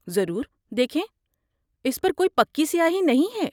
ضرور۔ دیکھیں، اس پر کوئی پکی سیاہی نہیں ہے۔